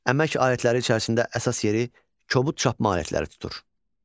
Əmək alətləri içərisində əsas yeri kobud çapma alətləri tutur.